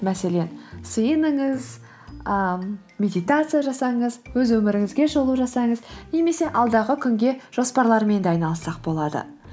мәселен сеніңіз ы медитация жасаңыз өз өміріңізге шолу жасаңыз немесе алдағы күнге жоспарлармен де айналыссақ болады